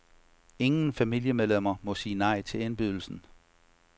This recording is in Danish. Ingen familiemedlemmer må sige nej til indbydelsen.